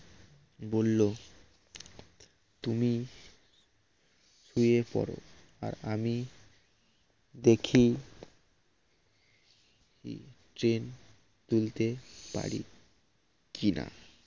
বললো তুমি শুয়ে পরো আর আমি দেখি তুলতে পারি কিনা